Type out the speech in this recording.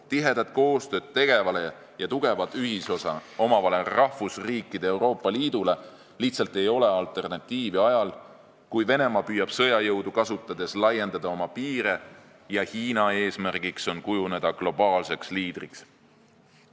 Tihedat koostööd tegevale ja tugevat ühisosa omavale rahvusriikide Euroopa Liidule lihtsalt ei ole alternatiivi ajal, kui Venemaa püüab sõjajõudu kasutades laiendada oma piire ja Hiina eesmärk on kujuneda globaalseks liidriks.